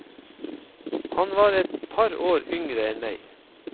Han var et par år yngre enn meg.